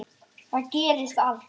Þar gerist allt.